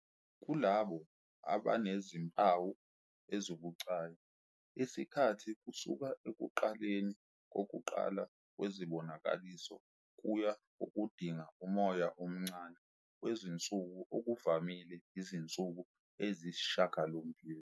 Kulabo aba nezimpawu ezibucayi, isikhathi kusuka ekuqaleni kokuqala kwesibonakaliso kuya kokudinga umoya omncane wezinsuku ngokuvamile izinsuku eziyisishiyagalombili.